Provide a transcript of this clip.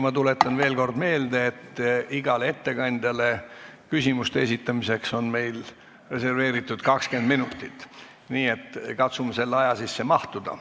Ma tuletan veel kord meelde, et igale ettekandjale küsimuste esitamiseks on meil reserveeritud 20 minutit, nii et katsume selle aja sisse mahtuda.